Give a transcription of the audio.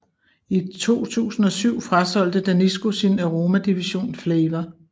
I 2007 frasolgte Danisco sin aromadivision Flavour